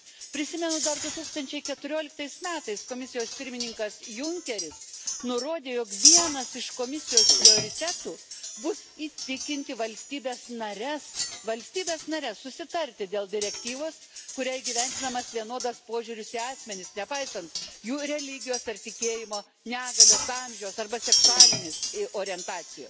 Prisimenu, dar du tūkstančiai keturioliktais metais Komisijos pirmininkas J. C. Junckeris nurodė, jog vienas iš Komisijos prioritetų bus įtikinti valstybes nares, susitarti dėl direktyvos, kuria įgyvendinamas vienodas požiūris į asmenis, nepaisant jų religijos, ar tikėjimo, negalios, amžiaus arba seksualinės orientacijos.